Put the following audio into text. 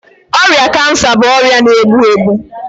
ọrịa kansa bụ ọrịa na-egbu egbu.